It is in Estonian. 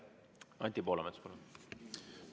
Anti Poolamets, palun!